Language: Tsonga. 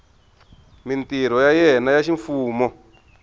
mintirho ya yena ya ximfumo